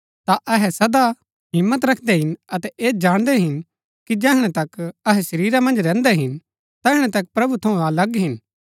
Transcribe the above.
ता अहै सदा हिम्मत रखदै हिन अतै ऐह जाणदै हिन कि जैहणै तक अहै शरीरा मन्ज रैहन्दै हिन तैहणै तक प्रभु थऊँ अलग हिन